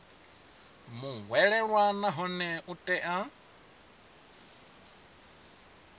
muhwelelwa nahone u tea u